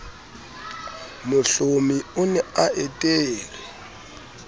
mohlomi o ne a etelwe